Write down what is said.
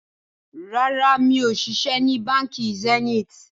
Rárá, mi ò ṣiṣẹ́ ni Báńkì Zenith